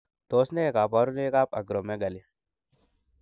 Tos nee koborunoikab Acromegaly?